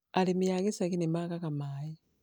arĩmi a gĩcagi nĩ maagaga maĩ